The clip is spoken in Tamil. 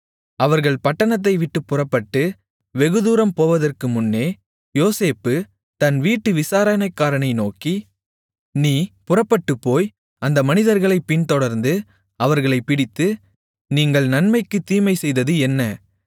அவர்கள் பட்டணத்தைவிட்டுப் புறப்பட்டு வெகுதூரம் போவதற்கு முன்னே யோசேப்பு தன் வீட்டு விசாரணைக்காரனை நோக்கி நீ புறப்பட்டுப்போய் அந்த மனிதர்களைப் பின்தொடர்ந்து அவர்களைப் பிடித்து நீங்கள் நன்மைக்குத் தீமை செய்தது என்ன